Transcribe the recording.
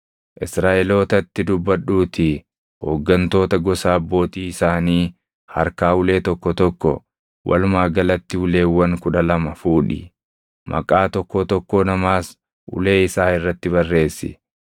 “Israaʼelootatti dubbadhuutii hooggantoota gosa abbootii isaanii harkaa ulee tokko tokko, walumaa galatti uleewwan kudha lama fuudhi. Maqaa tokkoo tokkoo namaas ulee isaa irratti barreessi.